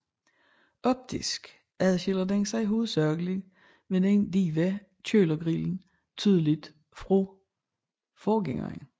Optisk adskiller den sig hovedsageligt med den dybe kølergrill tydeligt fra forgængeren